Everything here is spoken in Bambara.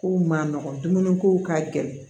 Kow man nɔgɔ dumuni ko ka gɛlɛn